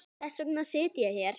Þess vegna sit ég hér.